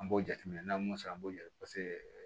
An b'o jateminɛ n'an y'o sɔrɔ an b'o jate papiye